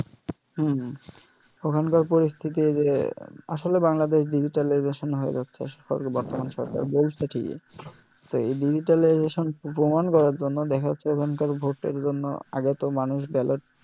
হম হুম ওখানকার পরিস্থিতি যে আসলে বাংলাদেশ digitalization হয়ে যাচ্ছে বর্তমান সরকার বলছে কি যে digitalization প্রমান করার জন্য দেখা যাচ্ছে ওখানকার ভোটের জন্য আগে তো মানুষ ballot